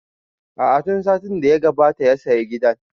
A'a tun satin da ya gabata ya saya gidan